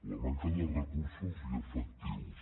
la manca de recursos i efectius